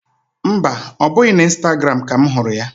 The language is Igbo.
Mba, ọ bụ n'Ịstagram ka m hụrụ ya